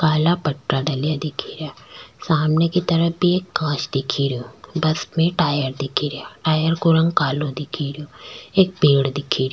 काला पट्टा डलया दिखे रिया सामने की तरफ भी एक दिखे रो बस में टायर दिखे रिया टायर को रंग कालो दिखे रो एक पेड़ दिखे रो।